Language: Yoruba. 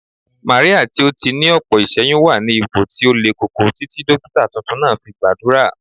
Màríà tí ó ní ọ̀pọ̀ iṣẹ́yún wà ní ipò tí ó le koko títí dókítà tuntun náà fi gbàdúrà